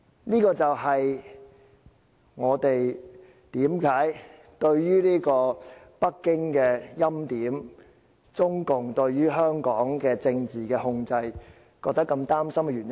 這就是我們對於北京的欽點及中共對香港的政治控制感到擔心的原因。